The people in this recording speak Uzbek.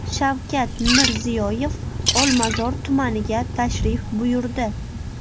Shavkat Mirziyoyev Olmazor tumaniga tashrif buyurdi.